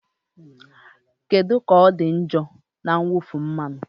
Kedu ka ọ dị njọ na mwụfu mmanụ?